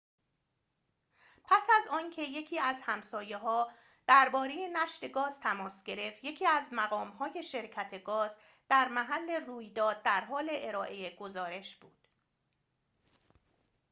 پس از آنکه یکی از همسایه‌ها درباره نشت گاز تماس گرفت یکی از مقام‌های شرکت گاز در محل رویداد در حال ارائه گزارش بود